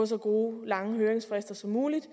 så gode lange høringsfrister som muligt